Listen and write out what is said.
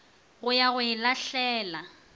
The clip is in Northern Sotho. go ya go e lahlela